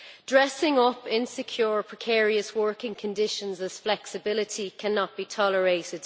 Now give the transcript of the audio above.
Dressing up insecure, precarious working conditions as flexibility cannot be tolerated